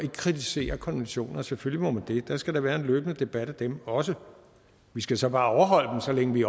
kritisere konventioner selvfølgelig må man det der skal da være en løbende debat af dem også vi skal så bare overholde dem så længe vi